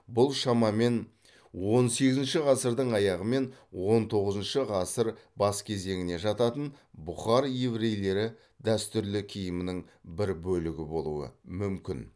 бұл шамамен он сегізінші ғасырдың аяғы мен он тоғызыншы ғасыр бас кезеңіне жататын бұхар еврейлері дәстүрлі киімінің бір бөлігі болуы мүмкін